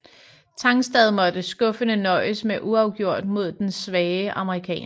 Tangstad måtte skuffende nøjes med uafgjort mod den svage amerikaner